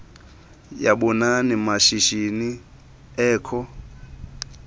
yabanini mashishini ekho